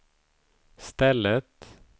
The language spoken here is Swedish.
stället